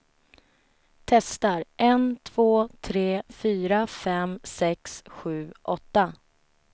Testar en två tre fyra fem sex sju åtta.